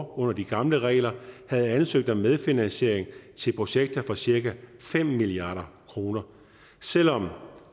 under de gamle regler havde ansøgt om medfinansiering til projekter for cirka fem milliard kroner selv om